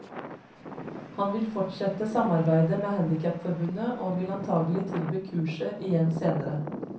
Han vil fortsette samarbeidet med handicapforbundet og vil antagelig tilby kurset igjen senere.